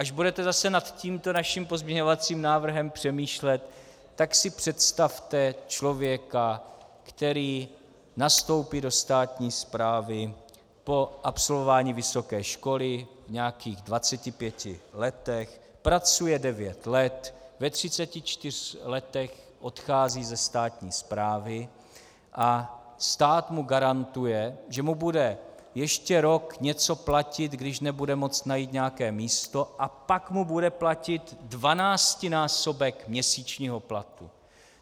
Až budete zase nad tímto naším pozměňovacím návrhem přemýšlet, tak si představte člověka, který nastoupí do státní správy po absolvování vysoké školy v nějakých 25 letech, pracuje 9 let, ve 34 letech odchází ze státní správy a stát mu garantuje, že mu bude ještě rok něco platit, když nebude moct najít nějaké místo, a pak mu bude platit 12násobek měsíčního platu.